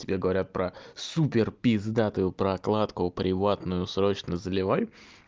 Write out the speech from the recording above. тебе говорят про супер пиздатую прокладку приватную срочно заливай